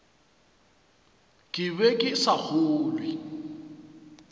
ke be ke sa kgolwe